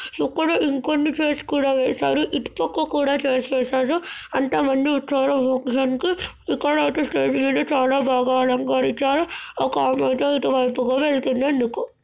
ఇక్కడ ఇంకొన్నిచైర్స్ కూడా వేశారు. ఇటుపక్క కూడా చేర్స్ వేశారు. అంతమంది వచ్చారో ప్రోగ్రాం కి ఇక్కడైతే స్టేజ్ మీద చాలా బాగా అలంకరించారు. ఒక ఆమె ఇటువైపుగా వెళుతుంది. ఎందుకో